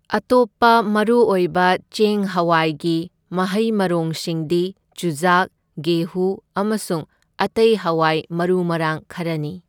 ꯑꯇꯣꯞꯄ ꯃꯔꯨꯑꯣꯏꯕ ꯆꯦꯡ ꯍꯋꯥꯏꯒꯤ ꯃꯍꯩ ꯃꯔꯣꯡꯁꯤꯡꯗꯤ ꯆꯨꯖꯥꯛ, ꯒꯦꯍꯨ, ꯑꯃꯁꯨꯡ ꯑꯇꯩ ꯍꯋꯥꯏ ꯃꯔꯨ ꯃꯔꯥꯡ ꯈꯔꯅꯤ꯫